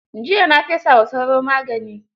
Jiiya na fesa wa sauro magani.